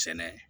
Sɛnɛ